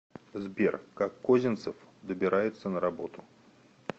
сбер как козинцев добирается на работу